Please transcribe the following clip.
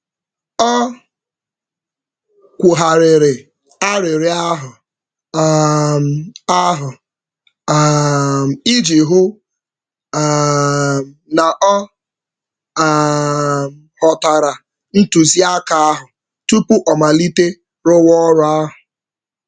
Ọ kwugharịrị arịrịọ ahụ um ahụ um iji hụ um na ọ um ghọtara ntụziaka ahụ tupu ọ malite rụwa ọrụ ahụ.